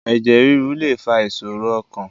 Ẹ̀jẹ̀ rírú lè fa ìṣòro ọkàn